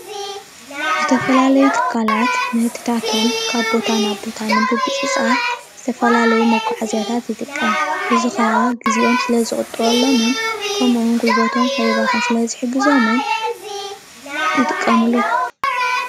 እዚ ምስሊ ናይ ሕርድን ካልኦትን ንመጋዓዓዚ ዝጥቀምሎም መኪና እዩ።